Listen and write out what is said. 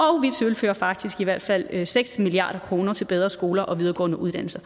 tilfører faktisk i hvert fald seks milliard kroner til bedre skoler og videregående uddannelser